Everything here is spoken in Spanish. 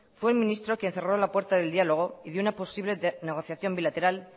fue el ministro quien cerró la puerta del diálogo y de una posible negociación bilateral